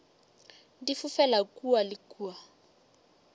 di fofela kua le kua